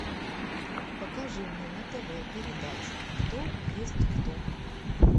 покажи мне на тв передачу кто есть кто